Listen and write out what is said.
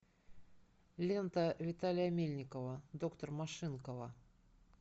лента виталия мельникова доктор машинкова